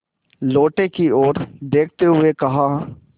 लोटे की ओर देखते हुए कहा